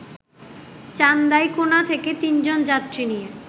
চান্দাইকোনা থেকে তিনজন যাত্রী নিয়ে